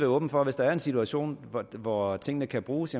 åben for at hvis der er en situation hvor tingene kan bruges